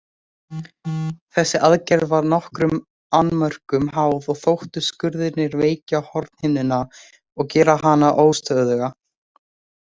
Þessi aðgerð var nokkrum annmörkum háð og þóttu skurðirnir veikja hornhimnuna og gera hana óstöðuga.